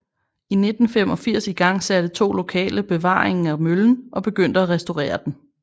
I 1985 igangsatte to lokale bevaringen af møllen og begyndte at restaurere den